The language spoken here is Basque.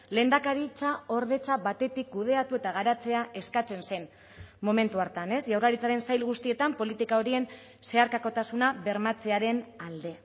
lehendakaritzaordetza batetik kudeatu eta garatzea eskatzen zen momentu hartan ez jaurlaritzaren sail guztietan politika horien zeharkakotasuna bermatzearen alde